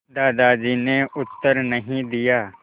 दादाजी ने उत्तर नहीं दिया